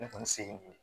Ne kɔni se ye